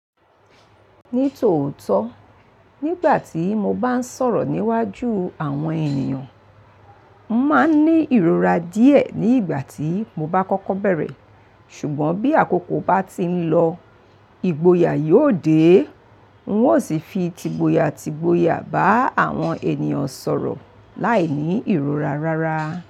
Ní tòótọ́, nígbà tí mo bá ń sọ̀rọ̀ níwájú àwọn ènìyàn, mo máa ń ní ìrora díẹ̀ nígbà tí mo bá kọ́kọ́ bẹ̀rẹ̀, ṣùgbọ́n bí àkókò bá ti ń lọ, ìgboyà yóò dé, n ó sì fi t'ìgboyà t'ìgboyà bá àwọn ènìyàn sọ̀rọ̀ láìní ìrora rárá.